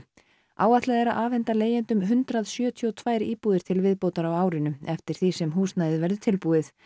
áætlað er að afhenda leigjendum hundrað sjötíu og tvær íbúðir til viðbótar á árinu eftir því sem húsnæðið verður tilbúið